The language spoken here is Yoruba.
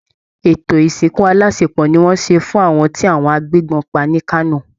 Etò ìsìnkù aláṣepọ̀ ni wọ́n ṣe fún àwọn tí agbébọn pa ní Kano